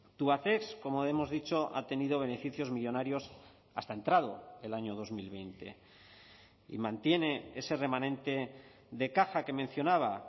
tubacex como hemos dicho ha tenido beneficios millónarios hasta entrado el año dos mil veinte y mantiene ese remanente de caja que mencionaba